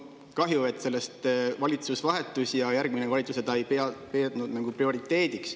Kahju, et valitsus vahetus ja järgmine valitsus ei pidanud seda prioriteediks.